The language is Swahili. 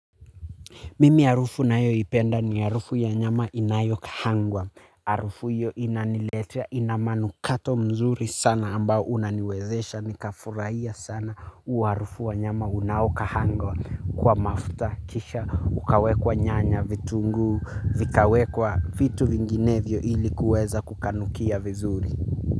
Mimi harufu ninayoipenda ni harufu ya nyama inayokahangwa. Harufu hiyo inaniletia ina manukato mzuri sana ambayo unaniwezesha nikafurahia sana huu harufu wa nyama unaokahangwa kwa mafuta kisha ukawekwa nyanya vitunguu vikawekwa vitu vinginevyo ili kuweza kukanukia vizuri.